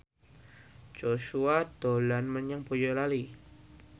Joshua dolan menyang Boyolali